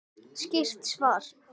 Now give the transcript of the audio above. Skýrt svar!